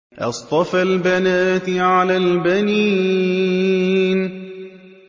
أَصْطَفَى الْبَنَاتِ عَلَى الْبَنِينَ